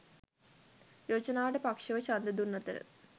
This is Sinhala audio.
යෝජනාවට පක්ෂව ඡන්දය දුන් අතර